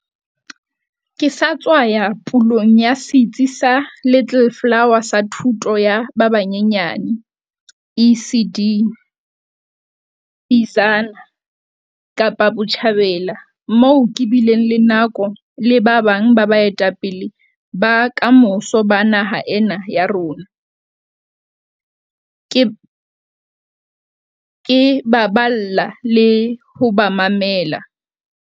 Ke sa tswa ya pulong ya setsi sa Little Flower sa thuto ya ba banyenyane ECD, Bizana, Kapa Botjhabela, moo ke bileng le nako le ba bang ba baetapele ba kamoso ba naha ena ya rona, ke ba balla le ho ba mamela.